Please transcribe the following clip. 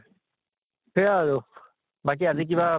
সেয়া আৰু বাকী আজি কিবা